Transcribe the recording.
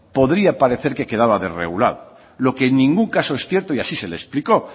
podría parecer que quedaba desregulada lo que en ningún caso es cierto y así se le explicó